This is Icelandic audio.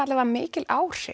mikil áhrif